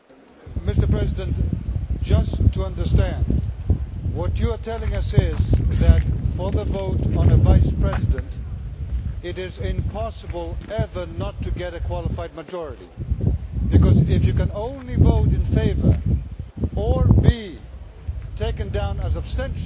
Mr President, just to understand, what you are telling us is that, for the vote on a Vice President, it is impossible ever not to get a qualified majority, because, if you can only vote in favour or be taken down as abstention,